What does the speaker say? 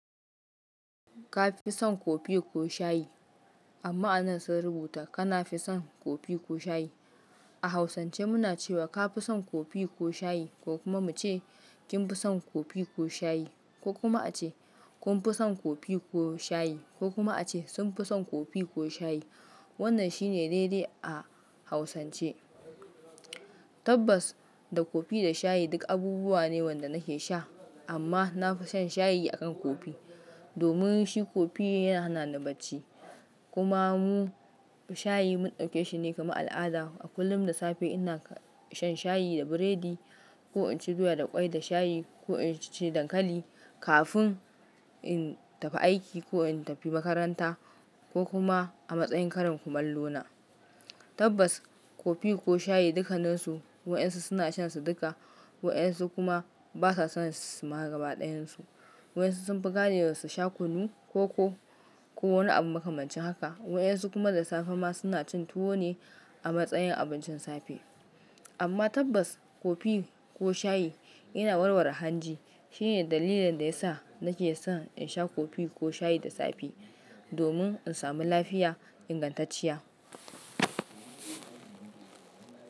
Ka fi son kofi ko shayi? Amma a nan sun rubuta "kana fi son kofi ko shayi?" A hausance muna cewa ka fi son kofi ko shayi ko kuma muce kin fi son kofi ko shayi ko kuma ace "kun fi son kofi ko shayi" ko kuma a ce "sun fi son kofi ko shayi." Wannan shine daidai a hausance. Tabbas da kofi da shayi duk abubuwa ne wanda nake sha amma na fi shan shayi akan kofi. Domin shi kofi yana hana ni bacci. Kuma mu shayi mun ɗauke shi ne kamar al'ada. A kullum da safe ina shan shayi da burodi ko in ci doya da kwai da shayi ko in ci dankali kafin in tafi aiki ko in tafi makaranta ko kuma a matsayin karin kumallo na. Tabbas kofi ko shayi dukaninsu wa'yansu suna shansa duka. Wa'yansu kuma basa son su ma gaba dayansu. Wa'yansu sun fi gane da su sha kunu, koko, ko wani abu makamancin haka. Wa'yansu kuma da safe ma suna cin tuwo ne a matsayin abincin safe. Amma tabbas kofi ko shayi yana warware hanji. Shi ne dalilin da yasa nake san in sha kofi ko shayi da safe. Domin in samu lafiya ingantacciya.